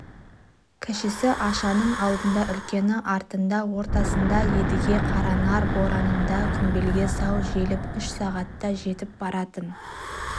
кішісі ашаның алдында үлкені артында ортасында едіге қаранар борандыдан құмбелге сау желіп үш сағатта жетіп баратын